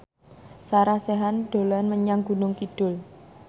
Sarah Sechan dolan menyang Gunung Kidul